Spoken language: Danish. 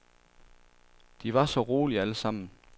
De var så rolige alle sammen.